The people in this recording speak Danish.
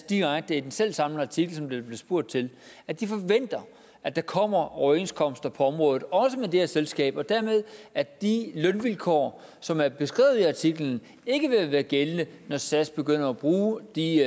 direkte i den selv samme artikel som der blev spurgt til at de forventer at der kommer overenskomster på området også med det her selskab og dermed at de lønvilkår som er beskrevet i artiklen ikke vil være gældende når sas begynder at bruge de